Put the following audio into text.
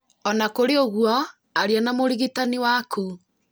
O na kũrĩ ũguo aria na mũrigitani waku